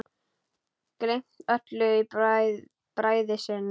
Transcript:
Gleymt öllu í bræði sinni.